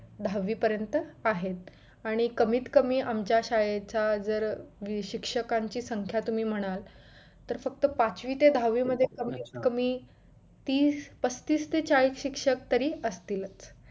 दहावी पर्यंत आहेत आणि कमीत कमी आमच्या शाळेचा जर शिक्षकांची संख्या तुम्ही म्हणाल तर फक्त पाचवी ते दहावी मध्ये कमीत कमी तीस पस्तीस ते चाळीस शिक्षक तरी असतीलच